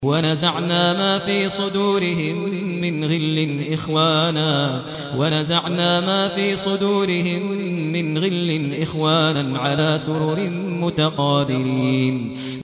وَنَزَعْنَا مَا فِي صُدُورِهِم مِّنْ غِلٍّ إِخْوَانًا عَلَىٰ سُرُرٍ مُّتَقَابِلِينَ